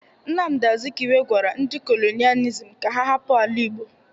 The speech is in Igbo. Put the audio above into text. Nnamdi Azikiwe gwara ndi kolonializm ka ha hapụ ala igbo!